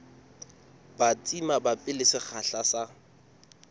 batsi mabapi le sekgahla sa